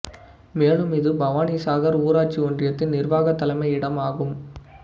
மேலும் இது பவானிசாகர் ஊராட்சி ஒன்றியத்தின் நிர்வாகத் தலைமையிடம் ஆகும்